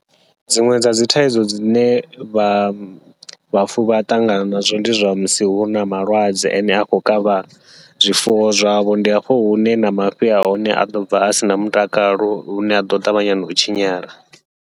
Dziṅwe dza dzi thaidzo dzine vha vhafuwi vha ṱangana nazwo, ndi zwa musi huna malwadze ane a khou kavha zwifuwo zwavho, ndi hafho hune na mafhi ahone aḓo bva a sina mutakalo lune aḓo ṱavhanya nau tshinyala.